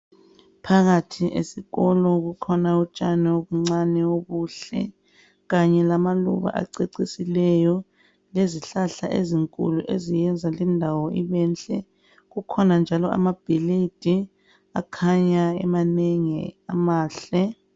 phakathi kwesikolo kukhona utshani obuncane obuhle kanye lamaluba acecisileyo lezihlahla ezinkulu eziyenza indawo ibenhle ,kukhona njalo amabhilidi akhanya emanengi amahle